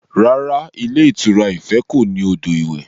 Rárá, ilé ìtura Ife kò ní odò iwẹ̀